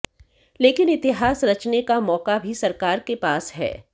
लेकिन इतिहास रचने का मौका भी सरकार के पास है